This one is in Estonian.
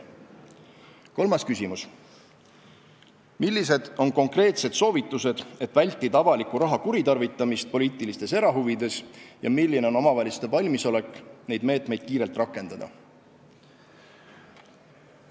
Kolmas küsimus: "Millised on konkreetsed soovitused, et vältida avaliku raha kuritarvitamist poliitilistes erahuvides ja milline on omavalitsuste valmisolek neid meetmeid kiirelt kasutada?